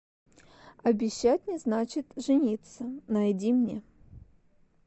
обещать не значит жениться найди мне